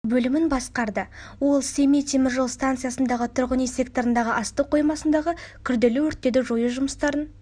бөлімін басқарды ол семей темір жол станциясындағы тұрғын-үй секторындағы астық қоймасындағы күрделі өрттерді жою жұмыстарын